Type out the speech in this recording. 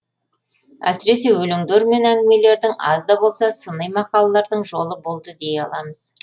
әсіресе өлеңдер мен әңгімелердің аз да болса сыни мақалалардың жолы болды дей аламыз